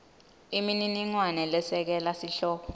imininingwane lesekela sihloko